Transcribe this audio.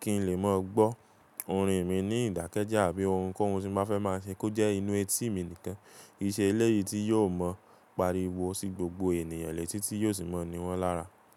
kí n lè mọ̀ gbọ́ orin mi ní ìdákẹ́jẹ́ àbí ohun kóhun tí mo fẹ́ máa ṣe kó jẹ́ inú etíì mi nìkan. Ki ṣe eléyìí tí yóò mọ pariwo sí gbogbo ènìyàn lè tí tí yóò sì mọ ni wọ́n lára.